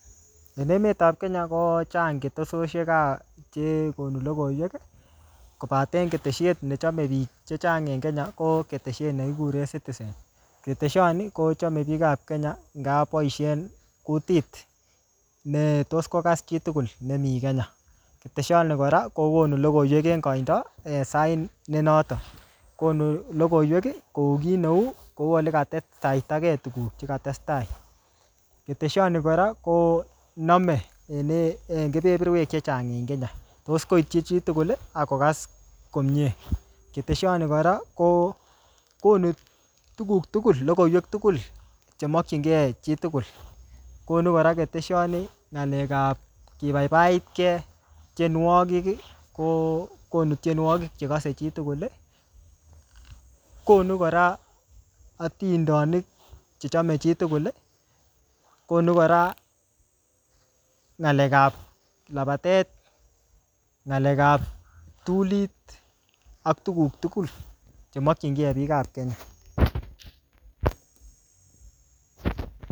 En emetap Kenya, kochang ketesiosiek ap chekonu logoiwek, kobaten ketesiet nechame biik chechang en Kenya, ko ketesiet ne kikuren citizen. Ketesiot ni kochame biikap Kenya, ngap boisien kutit netos kokas chi tugul nemii Kenya. Ketesiot ni kora, kokonu logoiwek en koindo, en sait ne notok. Konu logoiwek kou kiy neu, kou ole katestaitage tuguk che katestai. Ketesiot ni kora, koname en-en keperperwek chechang en Kenya. Tos koitchi chitugul ,akokas komyee. Ketesiot ni kora, kokonu tuguk tugul, logoiwek tugul chemakchinkey chitugul. Konu kora ketesioni ngalek ap kibabibaitkey tienwogik, ko konu tienwogik chekase chitugul. Konu kora atindonik chechame chitugul. Konu kora ng'alek ap labatet, ng'alek ap kiptulit, ak tuguk tugul chemakchinkey biik ap Kenya